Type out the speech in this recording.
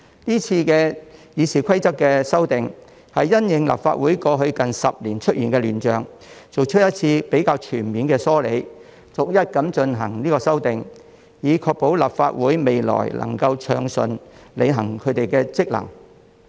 今次《議事規則》的修訂是因應立法會過去近10年出現的亂象，作出一次比較全面的梳理，逐一進行修訂，以確保立法會未來能夠暢順履行其職能。